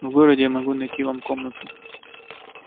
в городе я могу найти вам комнату